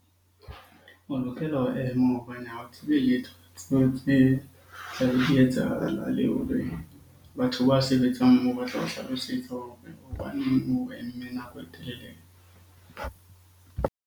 O lokela ho ema hobane ha o tshebeletso di etsahala le hore batho ba sebetsang moo batla ho hlalosetsa hore hobaneng o eme nako e telele?